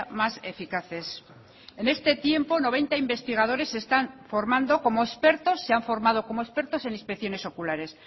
más eficaces en este tiempo noventa investigadores se están formando como expertos se han formado como expertos en inspecciones oculares